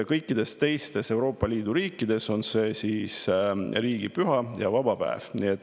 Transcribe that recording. Kõikides teistes Euroopa Liidu riikides on see riigipüha ja vaba päev.